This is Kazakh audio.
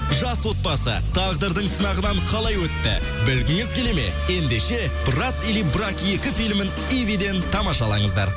жас отбасы тағдырдың сынағынан қалай өтті білгіңіз келеді ме ендеше брат или брак екі филімін ивиден тамашалаңыздар